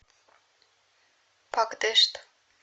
пакдешт